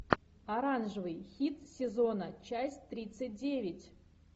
оранжевый хит сезона часть тридцать девять